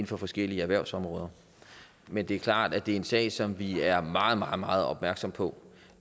for forskellige erhvervsområder men det er klart at det er en sag som vi er meget meget meget opmærksomme på